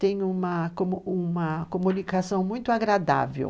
Tem uma comunicação muito agradável.